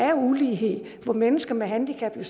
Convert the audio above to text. er ulighed for mennesker med handicap